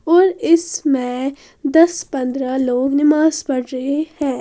और इसमें दस पंद्रह लोग नमाज पढ़ रहे हैं।